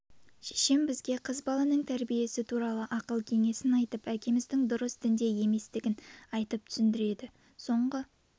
шешем бізге қыз баланың тәрбиесі туралы ақыл-кеңесін айтып әкеміздің дұрыс дінде еместігін айтып түсіндіреді соңғы